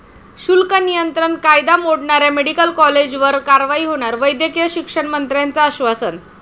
शुल्क नियंत्रण कायदा मोडणाऱ्या मेडिकल कॉलेजवर कारवाई होणार, वैद्यकीय शिक्षणमंत्र्यांचं आश्वासन